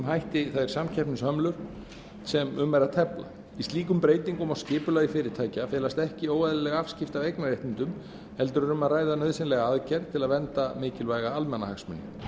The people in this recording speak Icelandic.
hætti þær samkeppnishömlur sem um er að tefla í slíkum breytingum á skipulagi fyrirtækja felast ekki óeðlileg afskipti af eignarréttindum heldur er um að ræða nauðsynlega aðgerð til þess að vernda mikilvæga almannahagsmuni